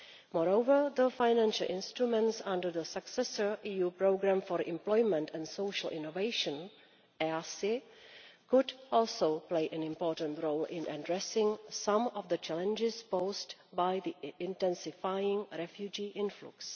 Moreover, the financial instruments under the successor EU programme for Employment and Social Innovation could also play an important role in addressing some of the challenges posed by the intensifying refugee influx.